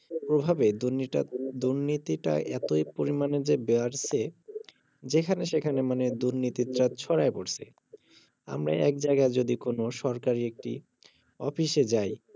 প্রভাবে দুর্নিটা~দুর্নিনীতিটা এতই পরিমানে যে বেয়ারছে যেখানে সেখানে মানে দুর্নীতিটা ছড়ায়ে পড়ছে আমরা এক জায়গায় যদি কোনো সরকারি একটি অফিসে যাই